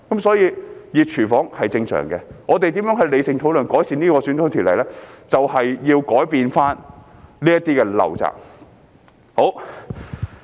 所以，"熱廚房"是正常的，我們如何理性討論，改善有關選舉條例，便是要改變這些陋習。